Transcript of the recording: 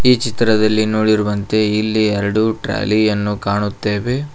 ಚಿತ್ರದಲ್ಲಿ ನೋಡಿರುವಂತೆ ಇಲ್ಲಿ ಎರಡು ಟ್ರಾಲಿಯನ್ನು ಕಾಣುತ್ತೇವೆ.